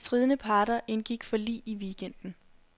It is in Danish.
De stridende parter indgik forlig i weekenden.